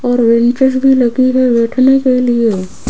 और बेंचेस भी लगी है बैठने के लिए।